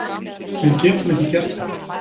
Við getum ekki gert það